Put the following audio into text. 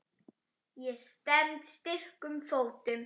Ég stend styrkum fótum.